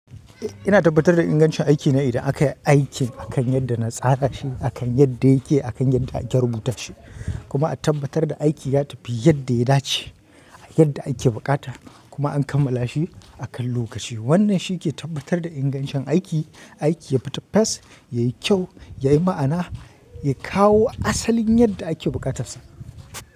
Ina tabbatar da ingancin aiki ne idan aka yi aikin akan yadda na tsara shi, akan yadda yake, akan yadda ake rubuta shi. Kuma a tabbatar da aiki ya tafi yadda ya dace, yadda ake buƙata kuma an kammala shi a kan lokaci. Wannan shi ke tabbatar da ingancin aiki, aiki yafita fes, yayi kyau, yayi ma'ana, ya kawo asalin yadda ake buƙatassa.